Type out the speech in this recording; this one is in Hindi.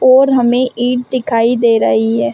और हमें ईट दिखाई दे रही है।